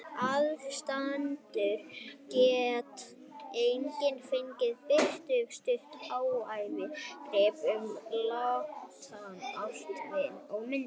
Aðstandendur get einnig fengið birt stutt æviágrip um látna ástvini og myndir.